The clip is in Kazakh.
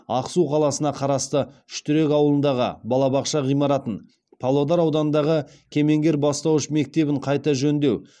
ақсу қаласына қарасты үштерек ауылындағы балабақша ғимаратын павлодар ауданындағы кемеңгер бастауыш мектебін қайта жөндеу